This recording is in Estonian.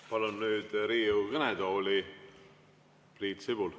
Palun nüüd Riigikogu kõnetooli Priit Sibula.